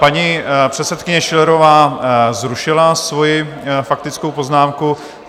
Paní předsedkyně Schillerová zrušila svoji faktickou poznámku.